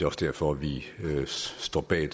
også derfor at vi står bag